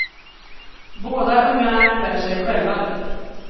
Båda ungarna klär sig själva nu.